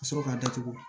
Ka sɔrɔ ka datugu